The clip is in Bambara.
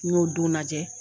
N y'o don lajɛ